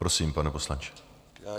Prosím, pane poslanče.